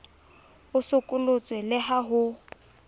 o sokolotswe le ha ho